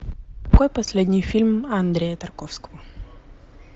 какой последний фильм андрея тарковского